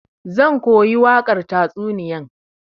Zan koyi wakar tatsuniyan.